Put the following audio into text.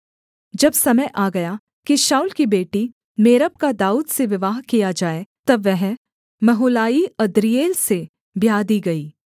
जब समय आ गया कि शाऊल की बेटी मेरब का दाऊद से विवाह किया जाए तब वह महोलाई अद्रीएल से ब्याह दी गई